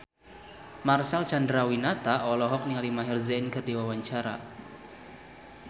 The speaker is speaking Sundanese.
Marcel Chandrawinata olohok ningali Maher Zein keur diwawancara